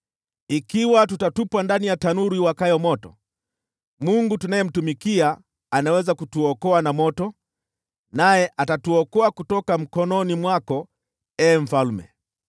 Ikiwa tutatupwa ndani ya tanuru iwakayo moto, Mungu tunayemtumikia anaweza kutuokoa na moto, naye atatuokoa kutoka mkononi mwako, ee mfalme.